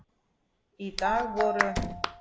Í dag voru